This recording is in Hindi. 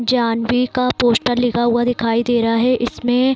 जानवी का पोस्टर लिखा हुआ दिखाई दे रहा है इसमें --